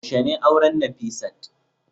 yaushe ne auren Nafisat